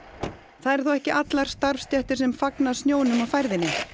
það eru þó ekki allar starfsstéttir sem fagna snjónum og færðinni